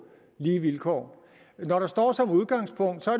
lige vilkår når der står som udgangspunkt